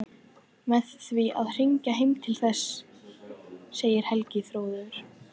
Með því að hringja heim til þess, segir Helgi hróðugur.